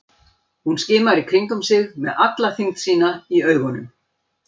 Hún skimar í kringum sig með alla þyngd sína í augunum.